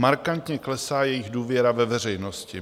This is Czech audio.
Markantně klesá jejich důvěra ve veřejnosti.